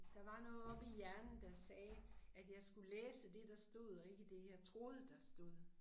Der var noget oppe i hjernen der sagde at jeg skulle læse det der stod og ikke det jeg troede der stod